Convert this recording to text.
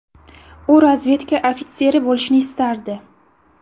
U razvedka ofitseri bo‘lishni istardi.